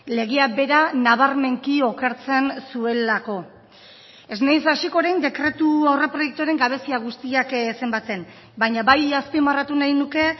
legea bera nabarmenki okertzen zuelako ez naiz hasiko orain dekretu aurreproiektuaren gabezia guztiak zenbatzen baina bai azpimarratu nahi nuke